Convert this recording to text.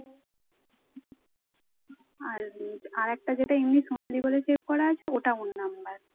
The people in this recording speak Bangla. আর আর একটা যেটা এমনি সোনালী বলে save করা আছে ওটা ওর নাম্বার